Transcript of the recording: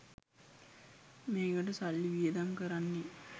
මේකට සල්ලි වියදම් කරන්නේ